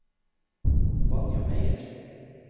Vanja Meyer